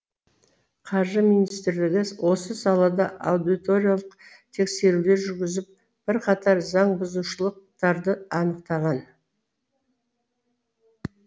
қаржы министрлігі осы салада аудиторлық тексерулер жүргізіп бірқатар заңбұзушылықтарды анықтаған